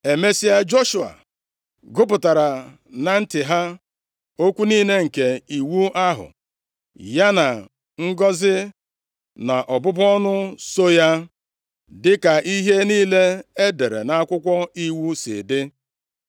Emesịa, Joshua gụpụtara na ntị ha, + 8:34 \+xt Dit 31:11; Neh 8:3\+xt* okwu niile nke iwu ahụ, ya na ngọzị na ọbụbụ ọnụ so ya, + 8:34 \+xt Dit 28:2,15,45; 29:20-21; 30:19\+xt* dịka ihe niile e dere nʼAkwụkwọ + 8:34 \+xt Jos 1:8\+xt* Iwu si dị.